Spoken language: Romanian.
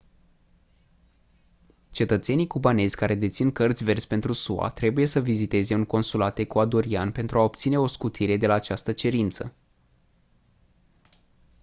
cetățenii cubanezi care dețin cărți verzi pentru sua trebuie să viziteze un consulat ecuadorian pentru a obține o scutire de la această cerință